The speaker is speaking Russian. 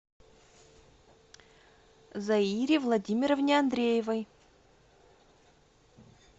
заире владимировне андреевой